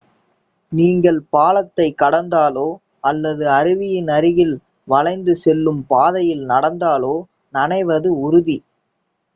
நீங்கள் பாலத்தைக் கடந்தாலோ அல்லது அருவியின் அருகில் வளைந்து செல்லும் பாதையில் நடந்தாலோ நனைவது உறுதி